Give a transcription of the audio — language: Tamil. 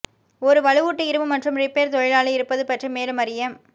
ஒரு வலுவூட்டு இரும்பு மற்றும் ரிப்பேர் தொழிலாளி இருப்பது பற்றி மேலும் அறிய